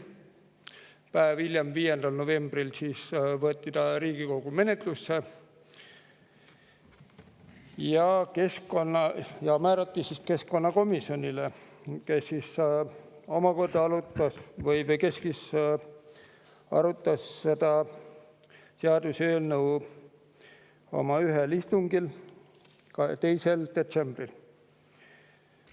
Päev hiljem, 5. novembril võeti eelnõu Riigikogu menetlusse ja määrati keskkonnakomisjonile, kes omakorda arutas seda ühel istungil, 2. detsembril.